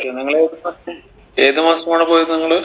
നിങ്ങള് ഏത് മാസമാണ് പോയത് നിങ്ങൾ